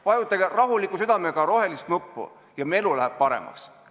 Vajutage rahuliku südamega rohelist nuppu ja meie elu läheb paremaks.